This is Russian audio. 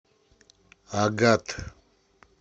агат